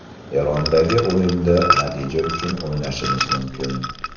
Erondagi o‘yinda natija uchun o‘ynashimiz mumkin.